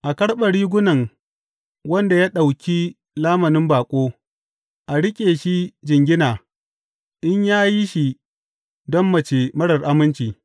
A karɓe rigunan wanda ya ɗauki lamunin baƙo; a riƙe shi jingina in ya yi shi don mace marar aminci.